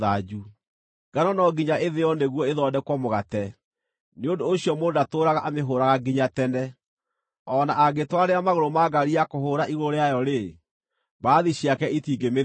Ngano no nginya ĩthĩo nĩguo ĩthondekwo mũgate; nĩ ũndũ ũcio mũndũ ndatũũraga amĩhũũraga nginya tene. O na angĩtwarĩra magũrũ ma ngaari ya kũhũũra igũrũ rĩayo-rĩ, mbarathi ciake itingĩmĩthĩa.